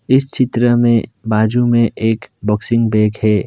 इस चित्र में बाजू में एक बॉक्सिंग बैग है।